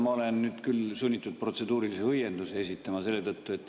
Ma olen nüüd küll sunnitud protseduurilise õienduse esitama.